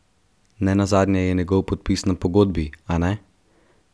Nenazadnje je njegov podpis na pogodbi, a ne?